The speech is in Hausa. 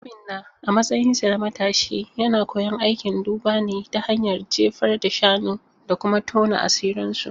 Obinna, a matsayinsa na matashi, yana koyon aikin duba ne ta hanyar jefar da shanu da kuma tona asirinsu.